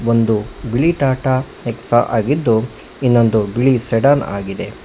ಒಂದು ಬಿಳಿ ಟಾಟಾ ಎಕ್ಸಾ ಆಗಿದ್ದು ಇನ್ನೊಂದು ಬಿಳಿ ಸೇಡನ್ ಆಗಿದೆ.